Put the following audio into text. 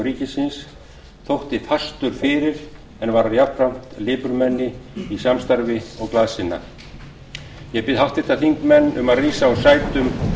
ríkisins þótti fastur fyrir en var jafnframt lipurmenni í samstarfi og glaðsinna ég bið háttvirta þingmenn um að rísa úr sætum